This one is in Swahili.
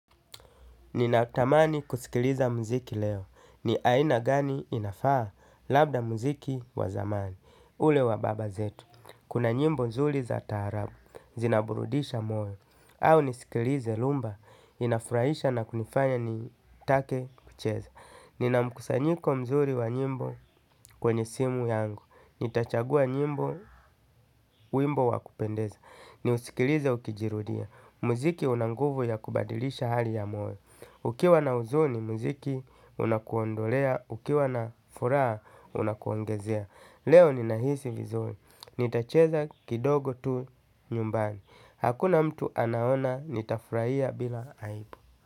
Ninatamani kusikiliza mziki leo. Ni aina gani inafaa labda mziki wa zamani. Ule wa baba zetu. Kuna nyimbo mzuri za tarabu. Zinaburudisha moyo. Au nisikilize lumba. Inafuraisha na kunifanya ni take kucheza. Nina mkusanyiko mzuri wa nyimbo kwenye simu yangu. Nitachagua nyimbo wimbo wakupendeza. Niusikiliza ukijirudia. Muziki unanguvu ya kubadilisha hali ya moyo ukiwa na huzuni mziki unakuondolea ukiwa na furaha unakuongezea leo ninahisi vizuri. Nitacheza kidogo tu nyumbani. Hakuna mtu anaona nitafuraia bila haibu.